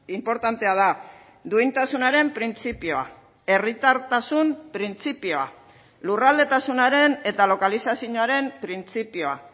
inportantea da duintasunaren printzipioa herritartasun printzipioa lurraldetasunaren eta lokalizazioaren printzipioa